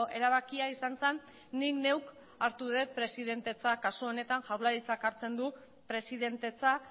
erabakia izan zen nik neuk hartu dut presidentetza kasu honetan jaurlaritzak hartzen du presidentetza